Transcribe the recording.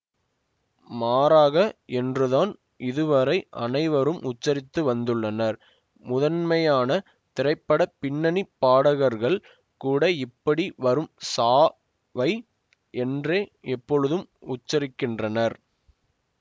மாறாக என்றுதான் இதுவரை அனைவரும் உச்சரித்து வந்துள்ளனர் முதன்மையான திரைப்பட பின்னணி பாடகர்கள் கூட இப்படி வரும் சா வை என்றே எப்பொழுதும் உச்சரிக்கின்றனர்